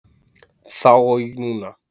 Þá og núna.